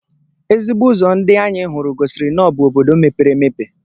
Ezigbo ụzọ ndị anyị hụrụ gosiri na ọ bụ obodo mepere emepe.